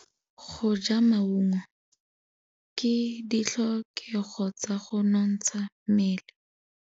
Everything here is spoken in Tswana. Go ja maungo ke ditlhokegô tsa go nontsha mmele.